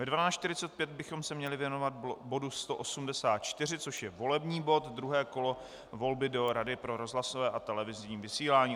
Ve 12.45 bychom se měli věnovat bodu 184, což je volební bod - druhé kolo volby do Rady pro rozhlasové a televizní vysílání.